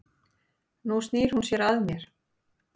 Nú snýr hún sér að mér.